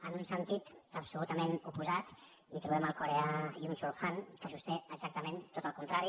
en un sentit absolutament oposat trobem el coreà byung chul han que sosté exactament tot el contrari